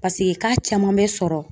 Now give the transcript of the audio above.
Paseke k'a caman bɛ sɔrɔ.